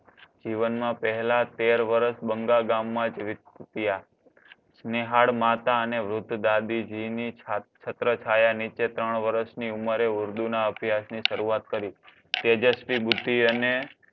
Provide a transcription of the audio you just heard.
જીવનમાં પેહલા તેર વર્ષ બંગાળ ગામમાં જ વિત્યા સ્નેહાળ માતા અને વૃદ્ધ દાદીજીની છત્રછાયા નીચે ત્રણ વર્ષ ની ઉંમરે ઉર્દૂના અભ્યાસની શરૂઆત કરી. તેજસ્વી બુદ્ધિ અને